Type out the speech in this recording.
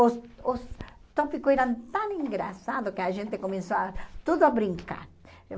Os os tópicos eram tão engraçados que a gente começou a tudo a brincar.